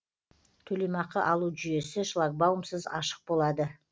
төлемақы алу жүйесі шлагбаумсыз ашық болады